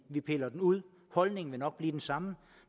vi piller den ud holdningen vil nok være den samme